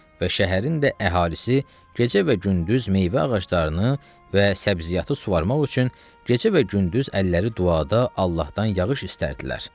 və şəhərin də əhalisi gecə və gündüz meyvə ağaclarını və səbziyatı suvarmaq üçün gecə və gündüz əlləri duada Allahdan yağış istərdilər.